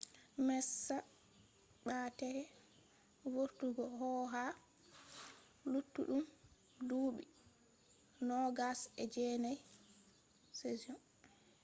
messa ɓa’deke vortugo ko ha luttudun dubi 2009 seasion